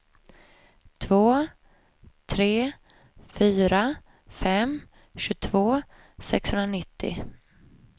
två tre fyra fem tjugotvå sexhundranittio